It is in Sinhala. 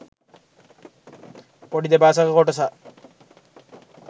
පොඩි දෙබසක කොටසක්